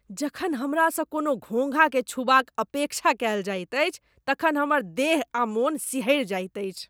जखन हमरासँ कोनो घोङ्घाकेँ छूबाक अपेक्षा कयल जाइत अछि तखन हमर देह आ मन सिहरि जाइत अछि।